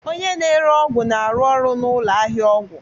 Oynye na-ere ọgwụ na-arụ ọrụ na ụlọ ahịa ọgwụ